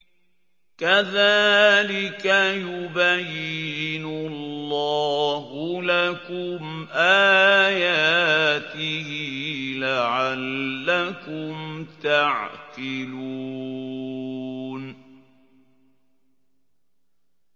كَذَٰلِكَ يُبَيِّنُ اللَّهُ لَكُمْ آيَاتِهِ لَعَلَّكُمْ تَعْقِلُونَ